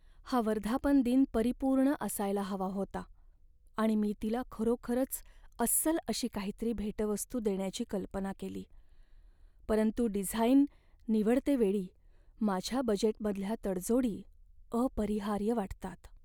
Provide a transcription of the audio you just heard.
हा वर्धापनदिन परिपूर्ण असायला हवा होता आणि मी तिला खरोखरच अस्सल अशी काहीतरी भेटवस्तू देण्याची कल्पना केली. परंतु डिझाईन निवडतेवेळी माझ्या बजेटमधल्या तडजोडी अपरिहार्य वाटतात.